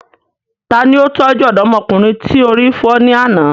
Tani ó tọ́jú ọ̀dọ́mọkùnrin tí orí fọ́ ní àná?